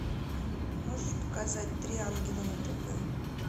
можешь показать три ангела на тв